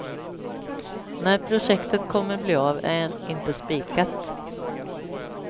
När projektet kommer bli av är inte spikat.